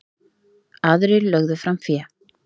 Aðrir lögðu fram fé.